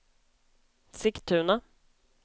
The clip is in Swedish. Sigtuna